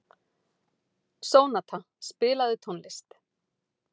Sónata, spilaðu tónlist.